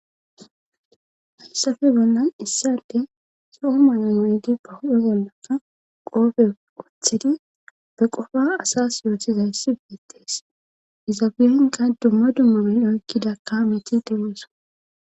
hayssafe bollan issante so7o mayon wuydi ba hudhe bollaka qoofe othidi be qofa asas yootizayssi beettees izaabiyenka dumma dummu bin oykkida ka meti teweesa